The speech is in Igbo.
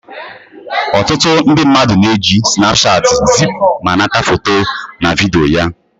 Ọtụtụ ndị mmadụ na-eji snapchat zipu ma nata foto na vidiyo